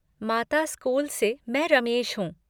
माता स्कूल से मैं रमेश हूँ।